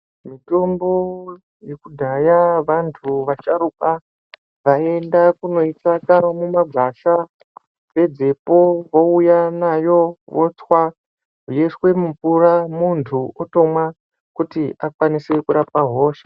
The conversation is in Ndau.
Mitombo yekudhaya vantu vasharukwa vaienda kundotsvaga munobdzafa nezvipo veiuya nawo votwa yoiswa mumvura muntu omwa kuti akwanise kurapa hosha.